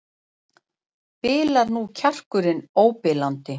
Bilar nú kjarkurinn óbilandi?